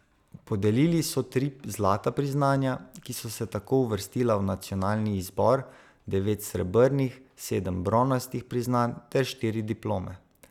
Podelili so tri zlata priznanja, ki so se tako uvrstila v nacionalni izbor, devet srebrnih, sedem bronastih priznanj ter štiri diplome.